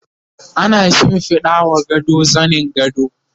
ana shimfiɗawa gado zanin gado